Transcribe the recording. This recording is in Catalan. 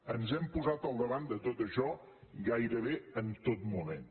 ens hem posat al davant de tot això gairebé en tot moment